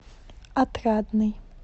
отрадный